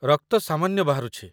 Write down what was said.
ରକ୍ତ ସାମାନ୍ୟ ବାହାରୁଛି